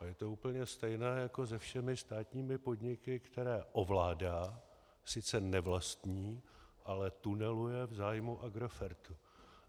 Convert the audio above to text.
A je to úplně stejné jako se všemi státními podniky, které ovládá, sice nevlastní, ale tuneluje v zájmu Agrofertu.